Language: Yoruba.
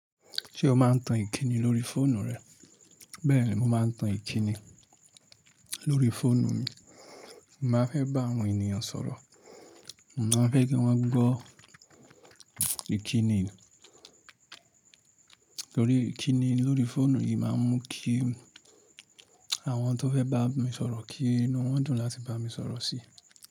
Ṣé o máa ń tan ìkíni lórí fóònù rẹ? Bẹ́ẹ̀ ni, mo máa ń tan ìkíni lórí fóònù mi. Mo má fẹ́ bá àwọn ènìyàn sọ̀rọ̀, mo má fẹ́ kí wọ́n gbọ́ ìkíni. Lórí ìkíni lórí fóònù yìí máa ń mú kí àwọn tó fẹ́ bá mi sọ̀rọ̀ kí inú wọn dùn láti bá mi sọ̀rọ̀ sí.